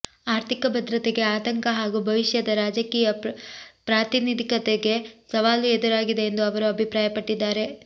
ಆರ್ಥಿಕ ಭದ್ರತೆಗೆ ಆತಂಕ ಹಾಗೂ ಭವಿಷ್ಯದ ರಾಜಕೀಯ ಪ್ರಾತಿನಿಧಿಕತೆಗೆ ಸವಾಲು ಎದುರಾಗಿದೆ ಎಂದು ಅವರು ಅಭಿಪ್ರಾಯ ಪಟ್ಟಿದ್ದಾರೆ